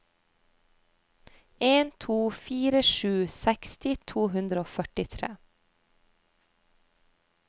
en to fire sju seksti to hundre og førtitre